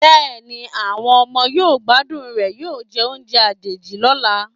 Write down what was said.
Bẹ́ẹ̀ni, àwọn ọmọ yóò gbádùn rẹ̀ yóò jẹ oúnjẹ àjèjì lọ́la.